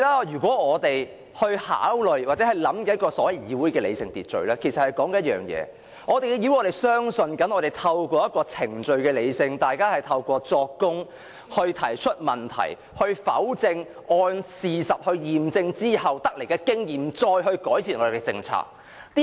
因此，當我們說議會的理性秩序，其實是指一件事。在議會，我們相信透過一個理性的程序，經過作供、提問、去否證及按事實驗證，把所得經驗用於改善我們的政策。